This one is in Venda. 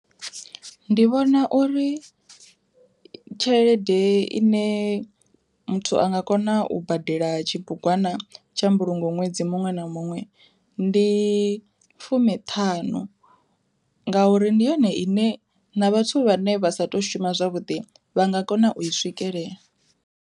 Ndi vhona uri tshelede ine muthu a nga kona u badela tshibugwana tsha mbulungo ṅwedzi muṅwe, ndi fumiṱhanu ngauri ndi yone ine na vhathu vhane vha sa tu to shuma zwavhuḓi vha nga kona u i swikelela.